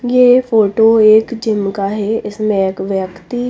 ये फोटो एक जिम का है इसमें एक व्यक्ति--